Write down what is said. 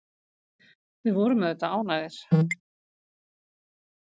Við vorum auðvitað ánægðir.